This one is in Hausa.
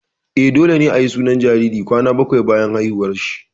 Eh, dole ne ayi sunan jariri kwana bakwai bayan haihuwar shi